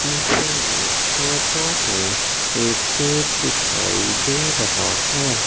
Photo में एक cake दिखाई दे रहा है।